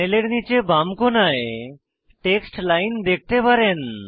প্যানেলের নীচের বাম কোণায় টেক্সট লাইন দেখতে পারেন